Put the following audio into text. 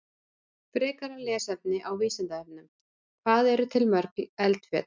Frekara lesefni á Vísindavefnum: Hvað eru til mörg eldfjöll?